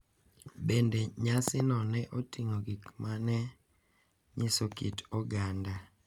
Bende, nyasino ne oting’o gik ma ne nyiso kit oganda .